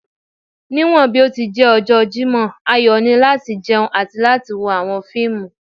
Niwọn bi o ti jẹ ọjọ Jimọ a yoo ni lati jẹun ati wo awọn fiimu